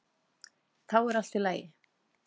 Þá er allt í lagi.